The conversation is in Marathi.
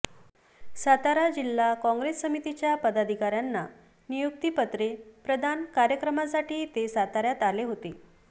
सातारा जिल्हा कॉंग्रेस समितीच्या पदाधिकाऱ्यांना नियुक्तिपत्रे प्रदान कार्यक्रमासाठी ते साताऱ्यात आले होते